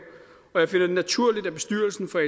og jeg finder det naturligt at bestyrelsen for